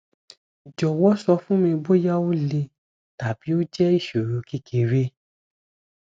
jowo sofunmi boya o le tabi o je isoro kekere